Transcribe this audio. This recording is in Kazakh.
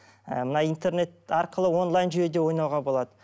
ы мына интернет арқылы онлайн жүйеде ойнауға болады